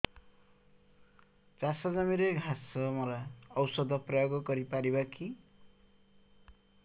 ଚାଷ ଜମିରେ ଘାସ ମରା ଔଷଧ ପ୍ରୟୋଗ କରି ପାରିବା କି